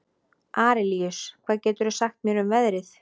Arilíus, hvað geturðu sagt mér um veðrið?